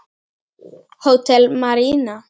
Hótel Marína.